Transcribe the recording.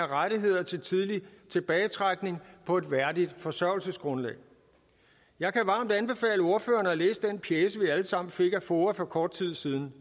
rettigheder til tidlig tilbagetrækning på et værdigt forsørgelsesgrundlag jeg kan varmt anbefale ordførerne at læse den pjece vi alle sammen fik af foa for kort tid siden